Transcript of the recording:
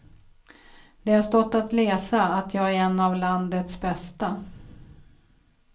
Det har stått att läsa att jag är en av landets bästa.